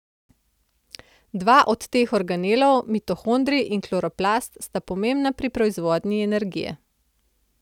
Dva od teh organelov, mitohondrij in kloroplast, sta pomembna pri proizvodnji energije.